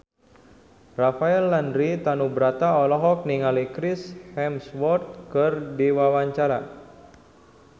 Rafael Landry Tanubrata olohok ningali Chris Hemsworth keur diwawancara